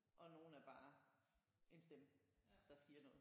Og nogle er bare en stemme der siger noget